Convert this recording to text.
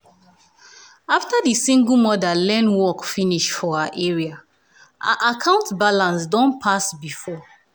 after um di single mother learn work um finish for her area her account balance don pass before.